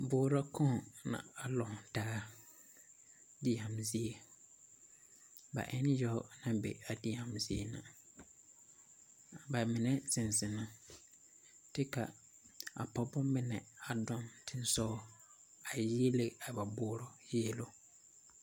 Boorɔ kaŋ la a lantaa deɛne zie ba e la yaga naŋ be a deɛne zie ba mine zeŋ zeŋ na kye ka a pɔgeba mine a dɔɔ teŋasoɔ a yiele a ba boorɔ yieluŋ